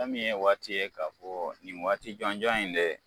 Fɛn minnye waati ye k'a fɔ nin waati jɔn jɔn in de